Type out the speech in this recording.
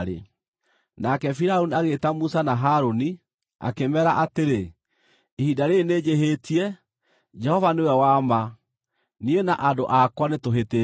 Nake Firaũni agĩĩta Musa na Harũni, akĩmeera atĩrĩ, “Ihinda rĩĩrĩ nĩnjĩhĩtie. Jehova nĩwe wa ma; niĩ na andũ akwa nĩtũhĩtĩtie.